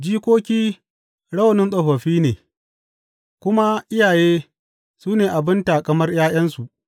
Jikoki rawanin tsofaffi ne, kuma iyaye su ne abin taƙamar ’ya’yansu.